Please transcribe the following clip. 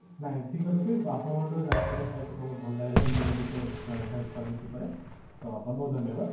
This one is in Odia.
ନାଇଁ ଠିକ ଅଛି ଆପଣଙ୍କ ଠୁ ଜାନକାରି ପାଇକି ବହୁତ ଭଲ ଲାଗିଲା integrating health service ଉପରେ ତ ବହୁତ ବହୁତ ଧନ୍ୟବାଦ